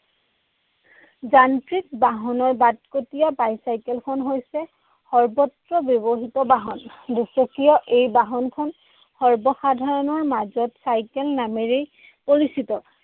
যান্ত্ৰিক বাহনৰ বাটকটীয়া bicycle খন হৈছে সৰ্বত্ৰ ব্যৱহৃত বাহন। দুচকীয় এই বাহনখন সৰ্বসাধাৰণৰ মাজত চাইকেল নামেৰেই পৰিচিত।